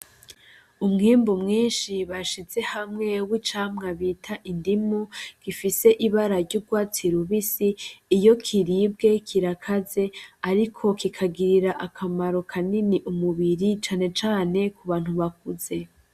Umwimbu mwinshi bashize hamwe w'icamwa bita indimu gifise ibara ry'urwatsi rubisi iyo kiribwe kirakaze ariko kikagirira akamaro kanini umubiri cane cane ku bantu bakuze.